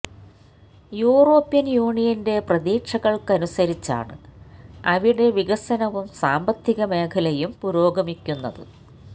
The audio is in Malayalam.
യൂറോപ്യന് യൂനിയന്റെ പ്രതീക്ഷകള്ക്ക് അനുസരിച്ചാണ് അവിടെ വികനസവും സാമ്പത്തിക മേഖലയും പുരോഗമിക്കുന്നത്